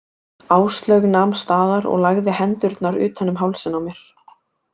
Áslaug nam staðar og lagði hendurnar utan um hálsinn á mér.